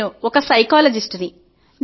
నేను ఒక సైకాలజిస్ట్ ని